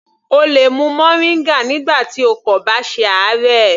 O lè mu moringa nígbà tí o kò bá ṣe àárẹ̀.